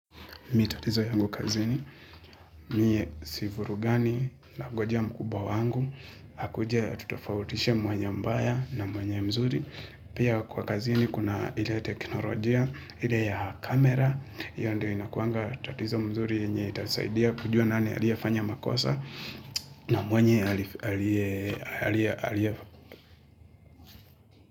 Mimi tatizo yangu kazini, miye sivurugani nangoja mkubwa wangu, akuja atutofautishe mwenye mbaya na mwenye mzuri, pia kwa kazini kuna ile teknolojia, ile ya kamera, io ndio inakuanga tatizo mzuri yenye itasaidia kujua nani aliefanya makosa na mwenye aliyefanya.